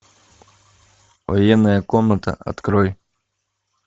военная комната открой